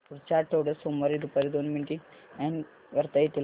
पुढच्या आठवड्यात सोमवारी दुपारी दोन मीटिंग्स अॅड करता येतील का